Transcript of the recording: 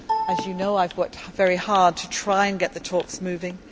As you know, I have worked very hard to try and get the talks moving.